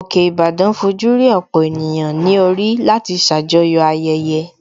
Òkè Ìbàdàn fojú rí ọ̀pọ̀ ènìyàn ní orí láti ṣàjọyọ̀ ayẹyẹ